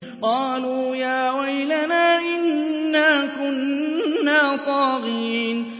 قَالُوا يَا وَيْلَنَا إِنَّا كُنَّا طَاغِينَ